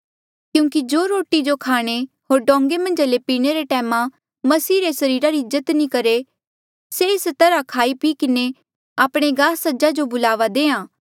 क्यूंकि जो रोटी जो खाणे होर डोंगें मन्झ ले पीणे रे टैम मसीह रे सरीरा री इज्जत नी करहे से एस तरहा खाई पी किन्हें आपणे गास सजा जो बुलावा देहां